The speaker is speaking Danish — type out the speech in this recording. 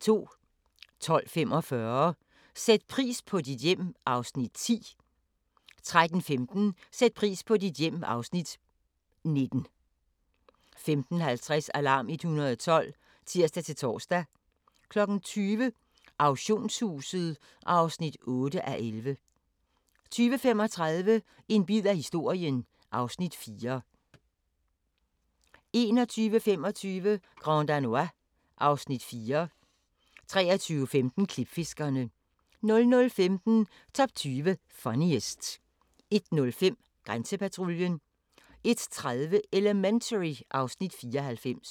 12:45: Sæt pris på dit hjem (Afs. 10) 13:15: Sæt pris på dit hjem (Afs. 19) 15:50: Alarm 112 (tir-tor) 20:00: Auktionshuset (8:11) 20:35: En bid af historien (Afs. 4) 21:25: Grand Danois (Afs. 4) 23:15: Klipfiskerne 00:15: Top 20 Funniest 01:05: Grænsepatruljen 01:30: Elementary (Afs. 94)